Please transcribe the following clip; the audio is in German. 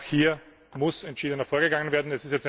hat. Auch hier muss entschiedener vorgegangen